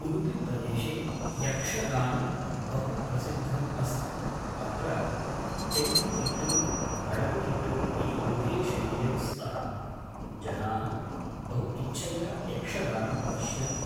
उडुपिप्रदेशे यक्षगानं बहु प्रसिद्धम् अस्ति अत्र तेंकुतिट्टु बडगुतिट्टु इति उभे शैल्यौ स्तः जनाः बहु इच्छया यक्षगानं पश्यन्ति